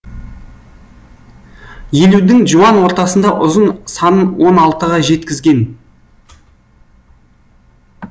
елудің жуан ортасында ұзын санын он алтыға жеткізген